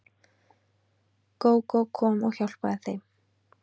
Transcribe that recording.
Gógó kom og hjálpaði þeim.